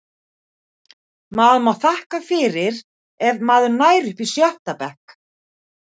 Maður má þakka fyrir ef maður nær upp í sjötta bekk.